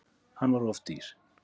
Hann var of dýr.